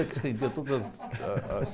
E eu que estendia todas as...